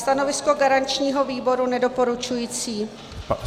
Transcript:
Stanovisko garančního výboru nedoporučující.